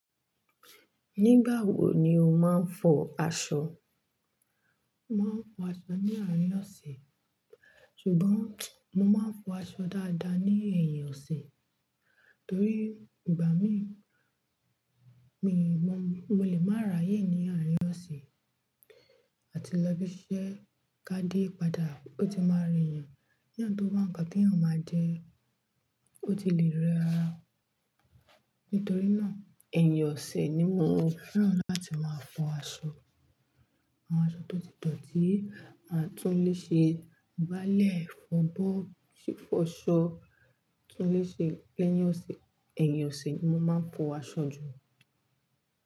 Nígbà wo ni o máa ń fọ aṣọ? Mo máa ń fọ aṣọ ní àárín ọ̀sẹ̀, ṣùgbọ́n mo máa ń fọ aṣọ dáadáa ní ẹ̀yìn ọ̀sẹ̀, torí ìgbà mi, mi mọ, mo lè máa ráyè ní àárín ọ̀sẹ̀ àti lọ bí ṣẹ́ ká dé padà ó ti máa re'yàn. Keyàn tó wá ńkan teyan maa je, o tukí èèyàn máa jẹ́, ó ti lè rẹ ara. Nítorí náà, ẹ̀yìn ọ̀sẹ̀ ni mo fẹ́ràn láti máa fọ aṣọ. Àwọn aṣọ tó ti tọ́ tí a tún lè ṣe báálẹ̀ fọ, bó ti fọ aṣọ kí a lè ṣe lẹ́yìn ọ̀sẹ̀, ẹ̀yìn ọ̀sẹ̀ ni mo máa ń fọ aṣọ jù.